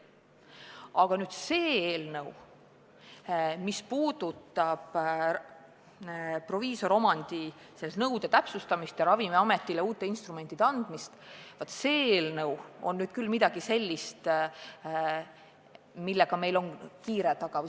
Aga see eelnõu, mis käsitleb proviisoriomandi nõude täpsustamist ja Ravimiametile uute instrumentide andmist, on küll midagi sellist, millega meil on kiire taga.